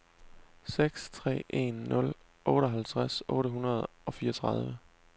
seks tre en nul otteoghalvtreds otte hundrede og fireogtredive